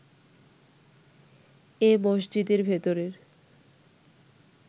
এ মসজিদের ভেতরের